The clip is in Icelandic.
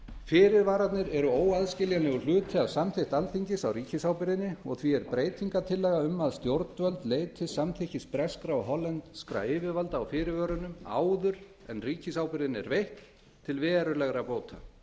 fyrirvararnir eru óaðskiljanlegur hluti af samþykkt alþingis á ríkisábyrgðinni og því er breytingartillaga um að stjórnvöld leiti samþykkis breskra og hollenskra yfirvalda á fyrirvörunum áður en ríkisábyrgðin er veitt til verulegra bóta